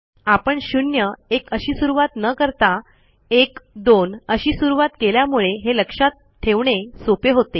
आपण शून्य एक अशी सुरूवात न करता एक दोन अशी सुरूवात केल्यामुळे हे लक्षात ठेवणे सोपे होते